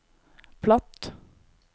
platt